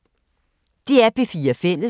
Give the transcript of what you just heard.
DR P4 Fælles